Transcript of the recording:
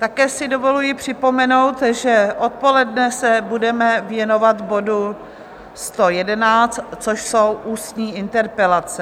Také si dovoluji připomenout, že odpoledne se budeme věnovat bodu 111, což jsou ústní interpelace.